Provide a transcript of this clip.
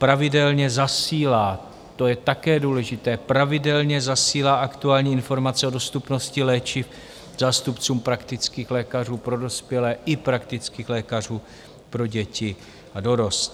Pravidelně zasílá - to je také důležité - pravidelně zasílá aktuální informace o dostupnosti léčiv zástupcům praktických lékařů pro dospělé i praktických lékařů pro děti a dorost.